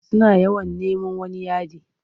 Suna yawon neman wani yadi.